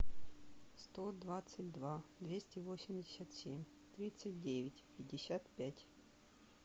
сто двадцать два двести восемьдесят семь тридцать девять пятьдесят пять